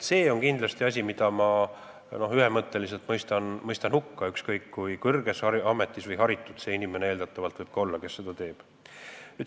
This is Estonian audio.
See on kindlasti asi, mille ma mõistan ühemõtteliselt hukka, ükskõik kui kõrges ametis või haritud võib eeldatavalt olla see inimene, kes seda teeb.